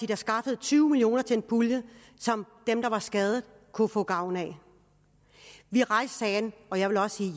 der skaffede tyve million kroner til en pulje som dem der var skadet kunne få gavn af vi rejste sagen og jeg vil også sige at